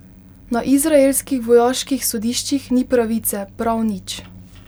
Na izraelskih vojaških sodiščih ni pravice, prav nič.